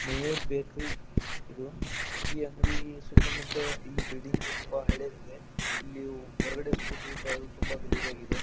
Mayur bakery ಇದು ಈ ಅಂಗಡಿ ಸುತ್ತು ಮುತ್ತು ಇದು ಬಿಲ್ಡಿಂಗ್ ತುಂಬ ಹಳೇದು ಇದೆ ಇಲ್ಲಿ ಹೊರಗಡೆ ಸ್ಕೂಟರ್ ನಿಂತಿದೆ ತುಂಬ ಹಳೇದು ಆಗಿದೆ.